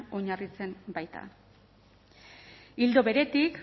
oinarritzen baita ildo beretik